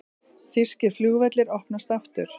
Þýskir flugvellir opnast aftur